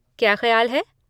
क्या ख्याल है?